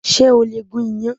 Ṣé o lè gún yán?